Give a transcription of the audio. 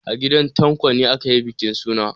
A gidan Tanko ne aka yi bukin suna.